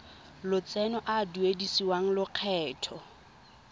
lotseno a a duedisiwang lokgetho